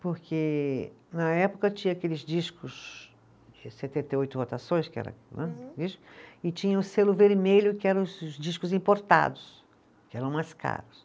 Porque na época tinha aqueles discos de setenta e oito rotações, que era né, e tinha o selo vermelho que eram os discos importados, que eram mais caros.